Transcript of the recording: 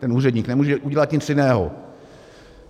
Ten úředník nemůže udělat nic jiného.